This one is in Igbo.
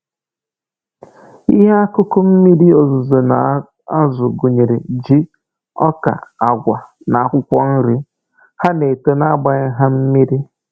Ihe akụkụ mmiri ozuzo na-azụ gụnyere ji, ọka, agwa na akwụkwọ nri. Ha na-eto na agbaghị ha mmiri